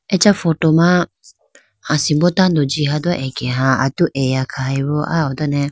Acha photo ma asimbo tando jiha do akeha atu eya khahoyi aho done.